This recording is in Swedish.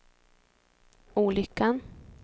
olyckan